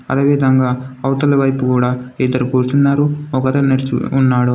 అదేవిధంగా అవతలి వైపు కూడా ఇద్దరు కూర్చున్నారు. ఒక అతను ఉన్నాడు.